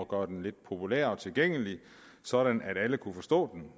gøre den lidt populær og tilgængelig sådan at alle kunne forstå den